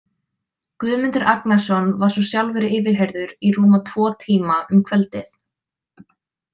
Guðmundur Agnarsson var svo sjálfur yfirheyrður í rúma tvo tíma um kvöldið.